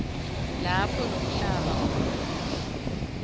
lapho lomhlaba utfolakala